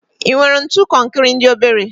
I nwere ntu konkri ndi obere?